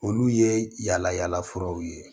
Olu ye yala yala furaw ye